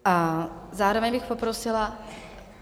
A zároveň bych poprosila...